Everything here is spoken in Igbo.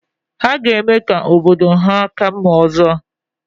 Ha ga-eme ka obodo ha ka mma ọzọ